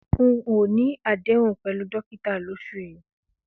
N ò ní àdéhùn pè̩lú dókíta lós̩ù yìí